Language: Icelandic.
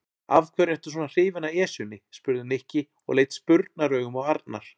Af hverju ertu svona hrifinn af Esjunni? spurði Nikki og leit spurnaraugum á Arnar.